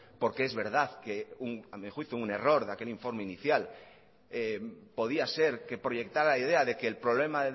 porque es verdad que a mi juicio un error de aquel informe inicial podía ser que proyectará la idea de que el problema